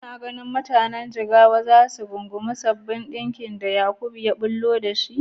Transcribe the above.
Kuna ganin mutanen Jigawa za su rungumi sabbin salon ɗinkin da Yakub ya ɓullo da su?